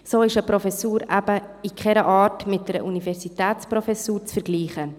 So ist eine Professur eben in keiner Art mit einer Universitätsprofessur zu vergleichen.